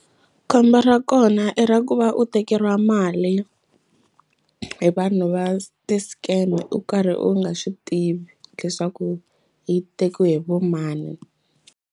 Khombo ra kona i ra ku va u tekeriwa mali hi vanhu va ti-scam u karhi u nga swi tivi leswaku yi tekiwe hi vo mani.